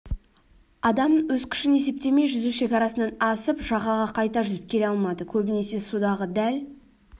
адам өз күшін есептемей жүзу шекарасынан асып жағаға қайта жүзіп келе алмады көбінесе судағы дәл